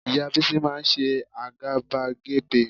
Ìyá Bísí máa ń ṣe àgàbàgebè